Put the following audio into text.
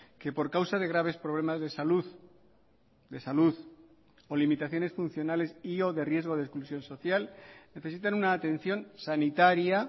que por causa de graves problemas de salud de salud o limitaciones funcionales y o de riesgo de exclusión social necesitan una atención sanitaria